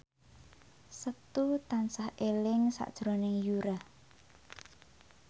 Setu tansah eling sakjroning Yura